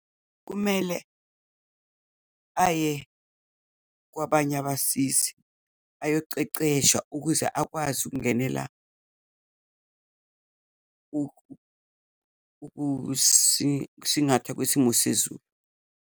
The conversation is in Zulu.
Kumele, aye kwabanye abasizi ayoceceshwa ukuze akwazi ukungenela ukusingatha kwesimo sezulu.